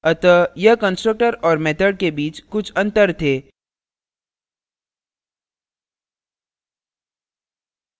अतः यह constructor और method के बीच कुछ अंतर थे